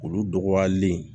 Olu dɔgɔyalen